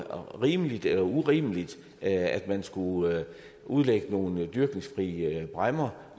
rimeligt eller urimeligt at man skulle udlægge nogle dyrkningsfrie bræmmer